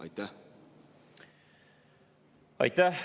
Aitäh!